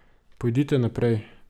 Pojdite naprej.